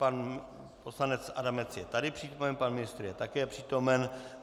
Pan poslanec Adamec je tady přítomen, pan ministr je také přítomen.